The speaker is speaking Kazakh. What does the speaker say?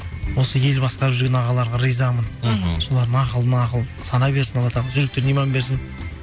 осы ел басқарып жүрген ағаларға ризамын мхм солардың ақылына ақыл сана берсін алла тағала жүректеріне иман берсін